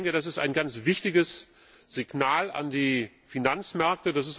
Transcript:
Ich denke, das ist ein ganz wichtiges Signal an die Finanzmärkte.